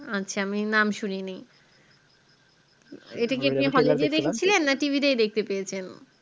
আচ্ছা আমি নাম শুনি নি এটা কিআপনি hall গিয়ে দেখেছিলেন না TV তেই দেখতে পেয়েছেন